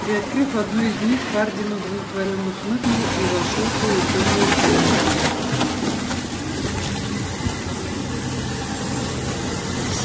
приоткрыв одну из них хардин удовлетворённо хмыкнул и вошёл в полутемную комнату